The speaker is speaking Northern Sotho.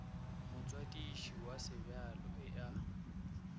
motswadiši wa sebjalo e a